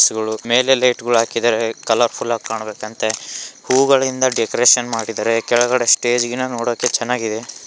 ಮೇಲೆ ಲೈಟು ಗಳು ಹಾಕಿದರೆ ಕಲರ್‌ ಫುಲ್ ಆಗಿ ಕಾಣಬೇಕಂತೆ ಹೂವುಗಳಿಂದ ಡೆಕೋರೇಷನ್ ಮಾಡಿದರೆ ಕೆಳಗಡೆ ಸ್ಟೇಜ್ ಗಿನ ನೋಡಕ್ಕೆ ಚೆನ್ನಾಗಿದೆ.